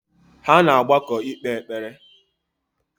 Ha na-agbakọ ikpe ekpere